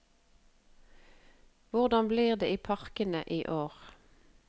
Hvordan blir det i parkene i år?